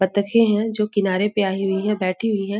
बत्तखें है जो किनारे पे आई हुई है बैठी हुई है।